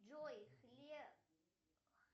джой